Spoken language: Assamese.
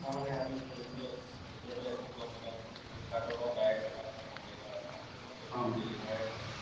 আমি এতিয়াটো একো গম নাপাম সেইটো flipkart ৰ লগত direct আপুনি contact ত আছে আমি বস্তু deliver হে কৰোঁ